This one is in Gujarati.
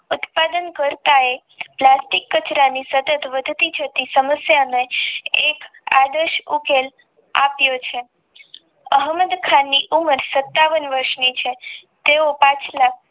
ઉત્પાદન કરતા એક પ્લાસ્ટિક કચરાની વધતી જતી સમસ્યાને એક આદર્શ ઉપચાર આપ્યો છે અહમદ ખાનની ઉમર સતાવન વર્ષની છે તેઓ પાછળ